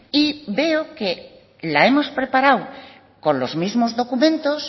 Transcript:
y veo que la hemos preparado con los mismo documentos